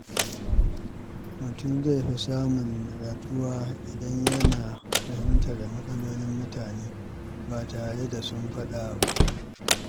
Mutum zai fi samun natsuwa idan yana iya fahimtar matsalolin mutane ba tare da sun faɗa ba.